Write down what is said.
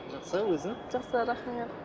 жақсы өзің жақсы рахмет